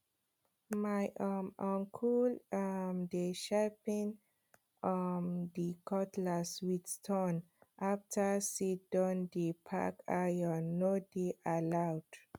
my um uncle um dey sharpen um d cutlass with stone after seed don dey pack iron no dey allowed